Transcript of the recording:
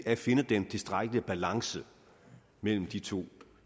at finde den tilstrækkelige balance mellem de to